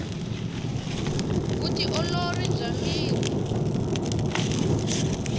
vu ti olori bya miri